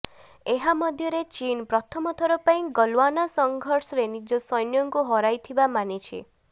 ଏହା ମଧ୍ୟରେ ଚୀନ୍ ପ୍ରଥମ ଥର ପାଇଁ ଗଲଓ୍ୱାନ ସଙ୍ଘର୍ଷରେ ନିଜ ସୈନ୍ୟଙ୍କୁ ହରାଇଥିବା ମାନିଛି